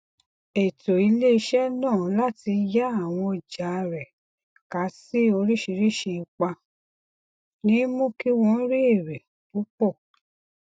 ètò iléiṣẹ náà láti yà àwọn ọja rẹ ká sí oríṣìíríṣìí ipa ni mú kí wọn rí èrè púpọ